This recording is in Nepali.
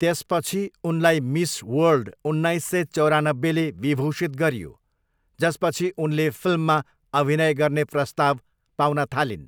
त्यसपछि उनलाई मिस वर्ल्ड उन्नाइस सय चौरानब्बेले विभूषित गरियो, जसपछि उनले फिल्ममा अभिनय गर्ने प्रस्ताव पाउन थालिन्।